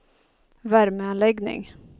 värmeanläggning